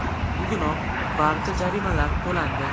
Bugunoq barcha jarimalar to‘landi.